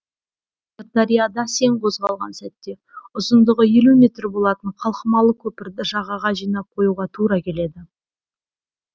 сырдарияда сең қозғалған сәтте ұзындығы елу метр болатын қалқымалы көпірді жағаға жинап қоюға тура келеді